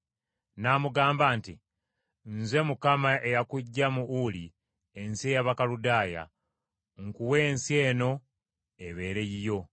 N’amugamba nti, “Nze Mukama eyakuggya mu Uli ensi ey’Abakaludaaya, nkuwe ensi eno ebeere yiyo.”